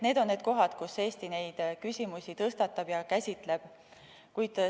Need on need kohad, kus Eesti selliseid küsimusi tõstatab ja käsitleb.